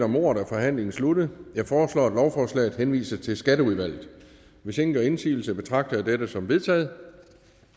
om ordet er forhandlingen sluttet jeg foreslår at lovforslaget henvises til skatteudvalget hvis ingen gør indsigelse betragter jeg dette som vedtaget